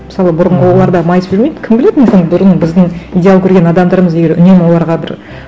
мысалы бұрынғы олар да майысып жүрмейді кім біледі мүмкін бұрын біздің идеал көрген адамдарымыз егер үнемі оларға бір